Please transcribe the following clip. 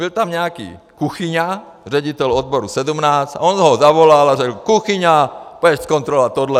Byl tam nějaký Kuchyňa, ředitel odboru 17, a on ho zavolal a řekl: Kuchyňa, půjdeš zkontrolovat tohle.